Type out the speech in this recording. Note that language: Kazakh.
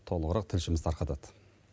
толығырақ тілшіміз тарқатады